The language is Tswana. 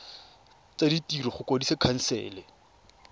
tsa ditiro go kwadisa khansele